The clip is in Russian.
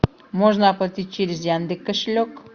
можно оплатить через яндекс кошелек